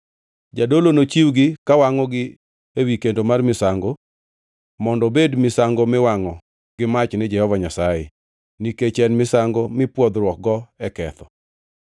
Jadolo nochiwgi ka wangʼogi ewi kendo mar misango, mondo obed misango miwangʼo gi mach ni Jehova Nyasaye, nikech en misango mipwodhruokgo e ketho.